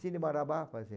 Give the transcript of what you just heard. Cine Marabá? Faz assim